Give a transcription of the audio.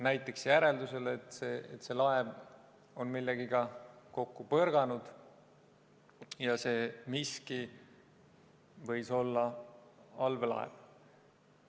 Näiteks järeldusele, et see laev on millegagi kokku põrganud, ja see miski võis olla allveelaev.